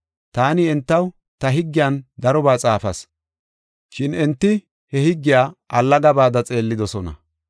Taani entaw ta higgiyan darobaa xaafas, shin enti he higgiya allagabada xeellidosona.